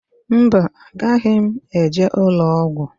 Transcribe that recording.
Mba, agaghị m eje ụlọọgwụ.